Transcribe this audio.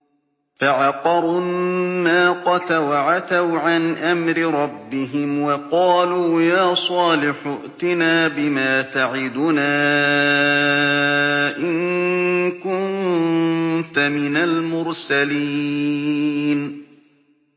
فَعَقَرُوا النَّاقَةَ وَعَتَوْا عَنْ أَمْرِ رَبِّهِمْ وَقَالُوا يَا صَالِحُ ائْتِنَا بِمَا تَعِدُنَا إِن كُنتَ مِنَ الْمُرْسَلِينَ